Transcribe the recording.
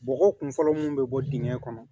Bɔgɔ kun fɔlɔ mun bi bɔ dingɛ kɔnɔ